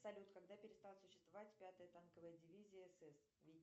салют когда перестала существовать пятая танковая дивизия сс